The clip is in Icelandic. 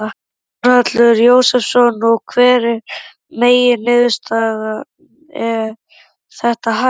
Þórhallur Jósefsson: Og hver er megin niðurstaða, er þetta hægt?